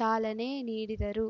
ಚಾಲನೆ ನೀಡಿದರು